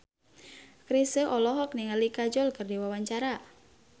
Chrisye olohok ningali Kajol keur diwawancara